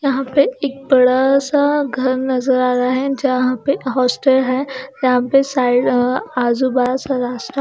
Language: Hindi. यहां पे एक बड़ासा घर नजर आ रहा हैं जहां पे हॉस्टल हैं जहां पे साइड अ आजू बाज स रास्ता--